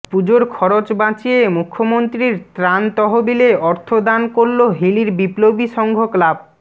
পুজোর খরচ বাঁচিয়ে মুখ্যমন্ত্রীর ত্রাণ তহবিলে অর্থ দান করল হিলির বিপ্লবী সংঘ ক্লাব